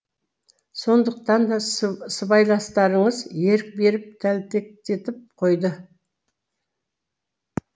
сондықтан да сыбайластарыңыз ерік беріп тәлтектетіп қойды